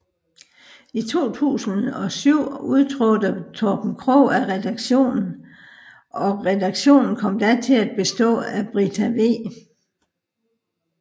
I 2007 udtrådte Torben Krogh af redaktionen og redaktionen kom da til at bestå af Brita V